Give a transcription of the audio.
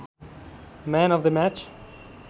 man of the match